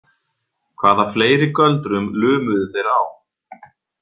Hvaða fleiri göldrum lumuðu þeir á?